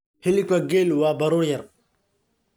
Hilibka geela waa baruur yar,